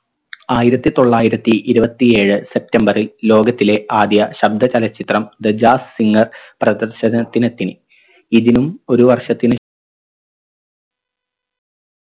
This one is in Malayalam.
ആയിരത്തി തൊള്ളായിരത്തി ഇരുപത്തി ഏഴ് സെപ്റ്റംബറിൽ ലോകത്തിലെ ആദ്യ ശബ്ദ ചലച്ചിത്രം thejasssinger പ്രദർശനത്തിനെത്തി ഇതിനും ഒരു വർഷത്തിന്